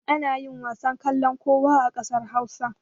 Ana yin wasan kallon kowa a ƙasar Hausa.